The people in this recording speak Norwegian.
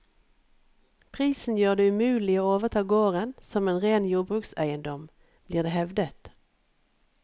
Prisen gjør det umulig å overta gården som en ren jordbrukseiendom, blir det hevdet.